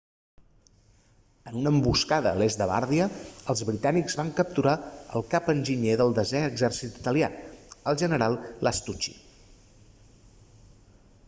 en una emboscada a l'est de bardia els britànics van capturar el cap-enginyer del desè exèrcit italià el general lastucci